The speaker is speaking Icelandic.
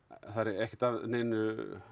ekki að neinu